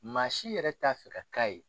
Maa si yɛrɛ t'a fɛ ka k'a ye